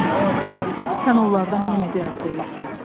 Aslan, sən onlardan yenə bir az böyüksən.